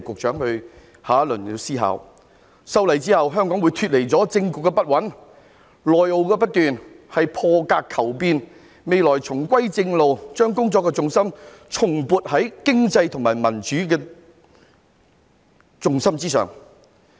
在修例後，香港會脫離政局不穩、內耗不斷的情況，我們是破格求變，未來將會重歸正路，把工作的重心重撥到經濟及民主之上。